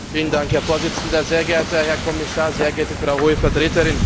Herr Präsident, sehr geehrter Herr Kommissar, sehr geehrte Frau Hohe Vertreterin!